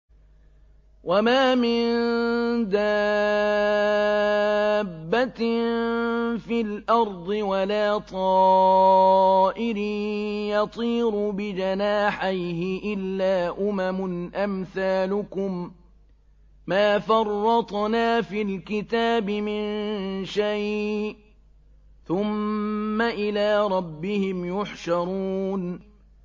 وَمَا مِن دَابَّةٍ فِي الْأَرْضِ وَلَا طَائِرٍ يَطِيرُ بِجَنَاحَيْهِ إِلَّا أُمَمٌ أَمْثَالُكُم ۚ مَّا فَرَّطْنَا فِي الْكِتَابِ مِن شَيْءٍ ۚ ثُمَّ إِلَىٰ رَبِّهِمْ يُحْشَرُونَ